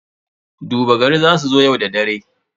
Duba gari za su zo yau da dare.